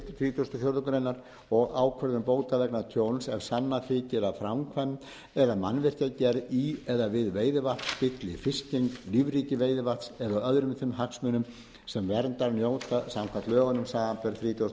og fjórðu greinar og ákvörðun bóta vegna tjóns ef sannað þykir að framkvæmd eða mannvirkjagerð í eða við veiðivatn spilli fiskgengd lífríki veiðivatns eða öðrum þeim hagsmunum sem verndar njóta samkvæmt lögunum samanber þrítugasta og sjöttu